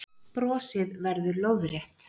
Brosið verður lóðrétt.